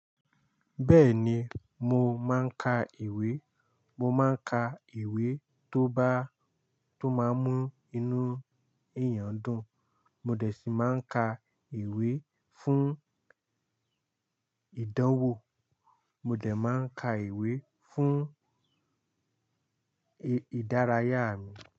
Bẹ́ẹ̀ni, mo máa ń ka ìwé. Mo máa ń ka ìwé tó bá, tó máa ń mú inú èèyàn dùn. Mo dẹ̀ ṣì máa ń ka ìwé fún ìdánwò, mo dẹ̀ máa ń ka ìwé fún ìdárayá mi.